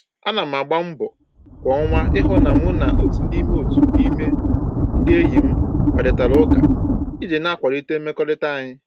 Ana m agba mbọ kwa ọnwa ịhụ na mụ na otu n'ime otu n'ime ndị enyi m kparịtara ụka iji na-akwalite mmekọrịta anyị